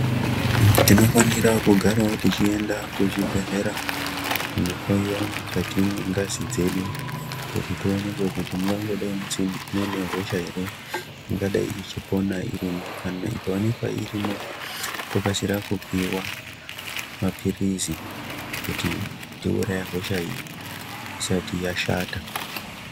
Tinofanira kugarawo techienda kuzvibhedhlera , kunohloiwa mukati mwengazi dzedu ,kuti toonekwe kuti mungangodai musina muine hosha ere, ingadai ichipona irimo. Kana ikaoneka irimo ,tokasira kupiwa maphirizi kuti tiuraye hosha iyi ,isati yashata.